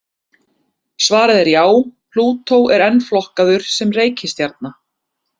Svarið er já, Plútó er enn flokkaður sem reikistjarna.